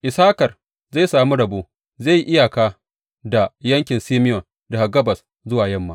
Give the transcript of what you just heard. Issakar zai sami rabo; zai yi iyaka da yankin Simeyon daga gabas zuwa yamma.